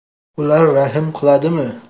Ular rahm qiladimi?